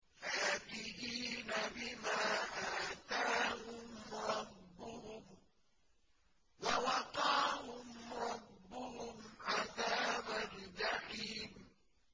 فَاكِهِينَ بِمَا آتَاهُمْ رَبُّهُمْ وَوَقَاهُمْ رَبُّهُمْ عَذَابَ الْجَحِيمِ